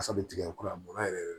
Asa bɛ tigɛ kura bɔ yɛrɛ yɛrɛ